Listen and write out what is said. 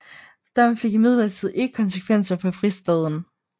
Dommen fik imidlertid ikke konsekvenser for fristaden